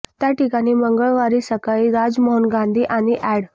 त्या ठिकाणी मंगळवारी सकाळी राजमोहन गांधी आणि अॅड